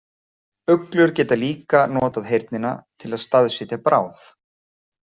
Uglur geta líka notað heyrnina til að staðsetja bráð.